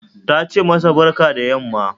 Tace masa barka da yamma